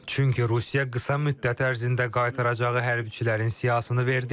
Çünki Rusiya qısa müddət ərzində qaytaracağı hərbçilərin siyahısını verdi.